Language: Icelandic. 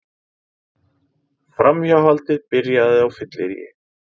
Framhjáhaldið byrjaði á fylleríi